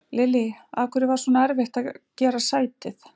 Lillý: Af hverju var svona erfitt að gera sætið?